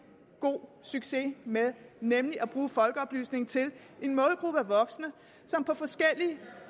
god succes med nemlig at bruge folkeoplysningen til en målgruppe af voksne som på forskellige